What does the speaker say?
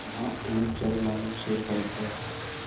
यहाँ एक जलमग्न शैलखंड है